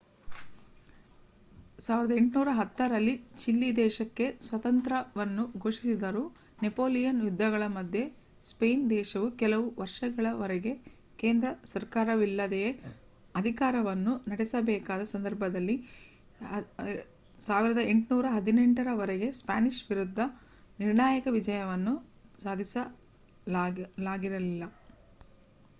1810 ರಲ್ಲಿ ಚಿಲಿ ದೇಶಕ್ಕೆ ಸ್ವಾತಂತ್ರ್ಯವನ್ನು ಘೋಷಿಸಿದರೂ ನೆಪೋಲಿಯನ್ ಯುದ್ಧಗಳ ಮಧ್ಯೆ ಸ್ಪೇನ್ ದೇಶವು ಕೆಲವು ವರ್ಷಗಳವರೆಗೆ ಕೇಂದ್ರ ಸರ್ಕಾರವಿಲ್ಲದೆಯೇ ಅಧಿಕಾರವನ್ನು ನಡೆಸಬೇಕಾದ ಸಂದರ್ಭದಲ್ಲಿ 1818 ರವರೆಗೆ ಸ್ಪ್ಯಾನಿಷ್ ವಿರುದ್ಧ ನಿರ್ಣಾಯಕ ವಿಜಯವನ್ನು ಸಾಧಿಸಲಾಗಿರಲಿಲ್ಲ